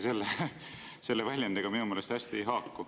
Selle väljendiga see minu meelest kuigi hästi ei haaku.